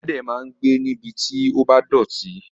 Ẹlẹ́dẹ̀ máa ń gbé níbi tí ó bá dọ̀tí.